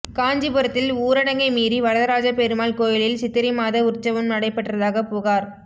காஞ்சிபுரத்தில் ஊரடங்கை மீறி வரதராஜ பெருமாள் கோயிலில் சித்திரை மாத உற்வசம் நடைபெற்றதாக புகார்